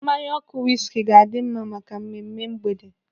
Mmanya ọkụ wiski ga-adi mma maka mmemme mgbede.